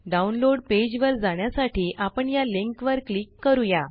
download page वर जाण्यासाठी आपण या लिंक वर क्लिक करूया